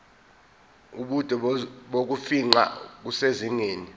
ubude bokufingqa kusezingeni